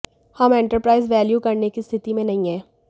हम enterprise value करने की स्थिति में नहीं हैं